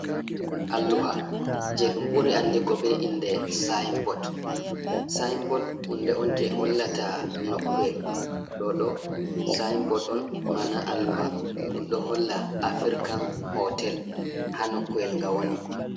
Alluha je ɗum ɓuri andigo be inde signboard. Signboard hunde on je hollata nokkuyel. Ɗo Ɗo signboard on ma'ana Alluha. Ɗum do holla African hotel ha nokkuwel nga woni.